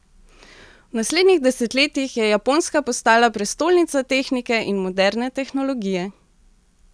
V naslednjih desetletjih je Japonska postala prestolnica tehnike in moderne tehnologije.